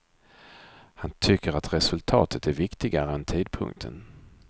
Han tycker att resultatet är viktigare än tidpunkten.